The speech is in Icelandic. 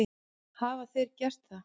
Hafa þeir gert það?